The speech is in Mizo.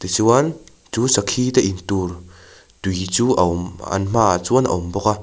tichuan chu sakhi te in tur tui chu a awm an hmaah chuan a awm bawk a.